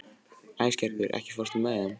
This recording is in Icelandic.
Æsgerður, ekki fórstu með þeim?